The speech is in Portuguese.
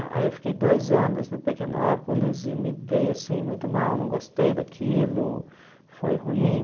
eh Aí eu fiquei dois anos no Pequenópolis e me dei assim muito mal, não gostei daquilo, foi ruim.